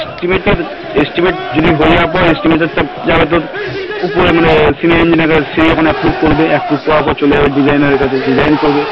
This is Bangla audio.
Estimate যদি হয়ে যাওয়ার পর estimate এর তো যারা তোর ওপরে senior engineer সে যখন approve করবে approve করার পর চলে যাবে designer এর কাছে design করবে